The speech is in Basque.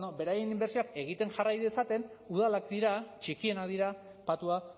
bueno beraien inbertsioak egiten jarrai dezaten udalak dira txikienak dira patua